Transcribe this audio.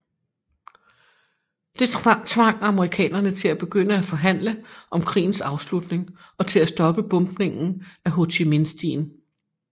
Det tvang amerikanerne til at begynde at forhandle om krigens afslutning og at stoppe bombningen af Ho Chi Minh stien